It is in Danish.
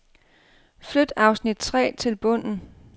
Flyt afsnit tre til bunden.